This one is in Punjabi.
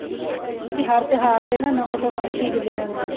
ਮਤਲਬ ਕੀ ਹਰ ਤਿਉਹਾਰ ਤੇ ਨਾ ਨਵੇਂ ਤੋਂ ਨਵੀਂ ਚੀਜ਼ ਲੈ ਆਂਦੇ ਨੇ